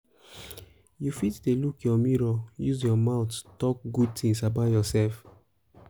you fit fit dey look your mirror use your mouth talk good things about yourself